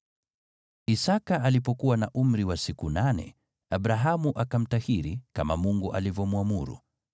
Isaki alipokuwa na umri wa siku nane, Abrahamu akamtahiri, kama Mungu alivyomwamuru.